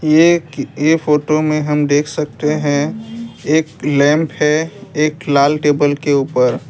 ये फोटो में हम देख सकते है एक लैंप है एक लाल टेबल के ऊपर।